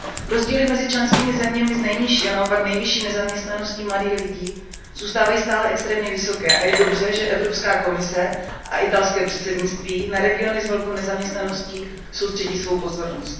Rozdíly mezi členskými zeměmi s nejnižší a naopak nejvyšší nezaměstnaností mladých lidí zůstávají stále extrémně vysoké a je dobře, že Evropská komise a italské předsednictví na regiony s velkou nezaměstnaností soustředí svou pozornost.